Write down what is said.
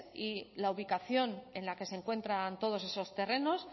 y la ubicación en la que se encuentran todos esos terrenos